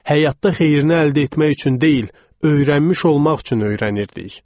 Həyatda xeyrinə əldə etmək üçün deyil, öyrənmiş olmaq üçün öyrənirdik.